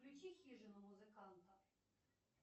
включи хижину музыканта